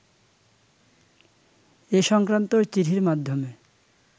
এ-সংক্রান্ত চিঠির মাধ্যমে